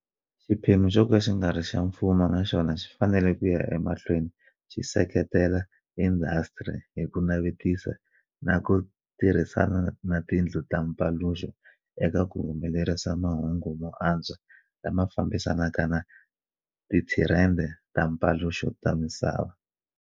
Xiphemu xoka xingari xa mfumo na xona xi fanele ku ya emahlweni xi seketela indhasitiri hi ku navetisa na ku tirhisana na tindlu ta mpaluxo eka ku humelerisa mahungu mo antswa lama fambisanaka na tithirende ta mpaluxo ta misava.